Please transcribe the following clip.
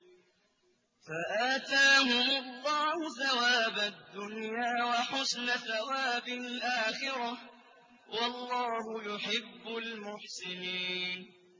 فَآتَاهُمُ اللَّهُ ثَوَابَ الدُّنْيَا وَحُسْنَ ثَوَابِ الْآخِرَةِ ۗ وَاللَّهُ يُحِبُّ الْمُحْسِنِينَ